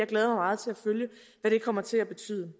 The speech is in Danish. glæder mig meget til at følge hvad det kommer til at betyde